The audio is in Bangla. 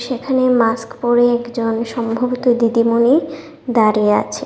এখানে মাস্ক পরে একজন সম্ভবত দিদিমনি দাঁড়িয়ে আছে।